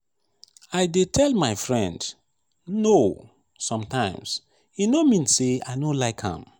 i dey tell my friend 'no' sometimes e no mean sey i no like am.